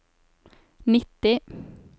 nitti